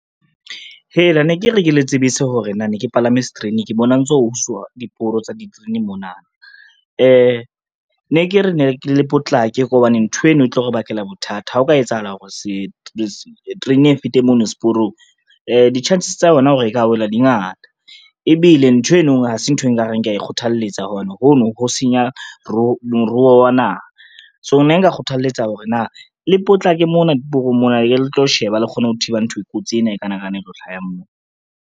Hela ne ke re ke le tsebise hore na ne ke palame sterene ke bona ho ntso ho uswa diporo tsa diterene mona. Ne ke re le potlake hobane ntho eno e tlo re bakela bothata ha ho ka etsahala hore terene e fete mono seporong, di-chances tsa yona hore e ka wela di ngata ebile ntho eno ha se ntho e nka reng kea e kgothalletsa hobane hono ho senya moruo wa naha. So ne nka kgothaletsa ho re na le potlake mona seporong mona, e le tlo sheba le kgone ho thiba ntho e kotsi ena e kanakana e tlo hlaha moo.